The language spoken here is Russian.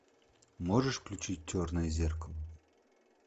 можешь включить черное зеркало